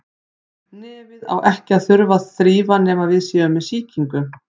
Nefið á ekki að þurfa að þrífa nema við séum með sýkingu.